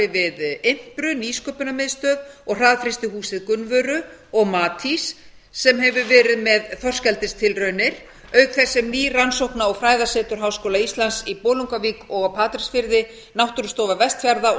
við impru nýsköpunarmiðstöð og hraðfrystihúsið gunnvöru og matís sem hefur verið með þorskeldistilraunir auk þess sem ný rannsókna og fræðasetur háskóla íslands í bolungarvík og á patreksfirði náttúrustofa vestfjarða